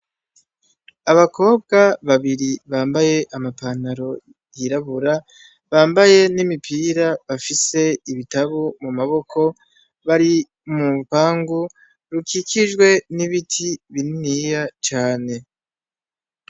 Abakobwa babiri bambaye amapantaro yirabura bambaye n'imipira bafise ibitabu mumaboko; bari murupamgu rukikijwe n'ibiti bininiya cane.